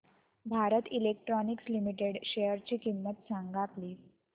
Bharat electronics limited शेअरची किंमत सांगा प्लीज